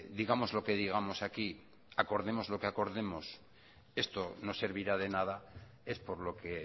digamos lo que digamos aquí acordemos lo que acordemos esto no servirá de nada es por lo que